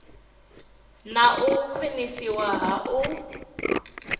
na u khwiniswa ha u